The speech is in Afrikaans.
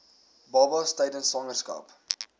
babas tydens swangerskap